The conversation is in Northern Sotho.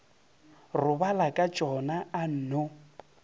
robala ka tšona a nno